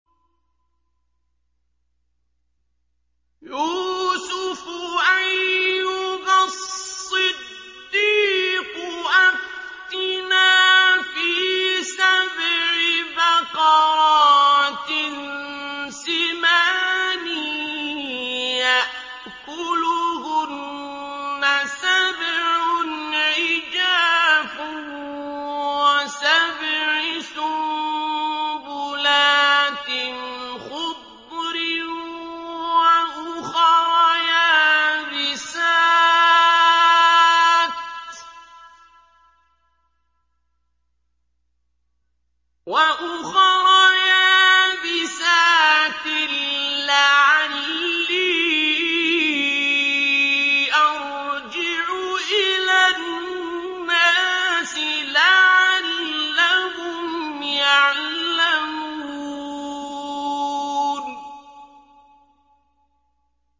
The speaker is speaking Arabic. يُوسُفُ أَيُّهَا الصِّدِّيقُ أَفْتِنَا فِي سَبْعِ بَقَرَاتٍ سِمَانٍ يَأْكُلُهُنَّ سَبْعٌ عِجَافٌ وَسَبْعِ سُنبُلَاتٍ خُضْرٍ وَأُخَرَ يَابِسَاتٍ لَّعَلِّي أَرْجِعُ إِلَى النَّاسِ لَعَلَّهُمْ يَعْلَمُونَ